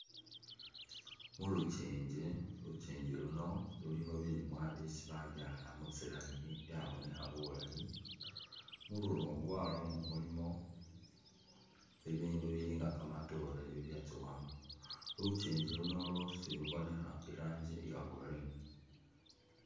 Mulukyinji, likyinji luno lulikho bilimwa byesi babyala mitsi layini byabonekha bulayi mululungwa lwamo mulimo ibindu bilinga kamatoore ibyatsowamo lukyingi luno lwosi bubonekha irangi iya green.